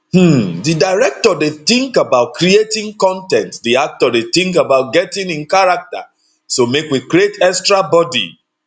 um di director dey tink about creating con ten t di actor dey tink about getting in character so make we create extra bodi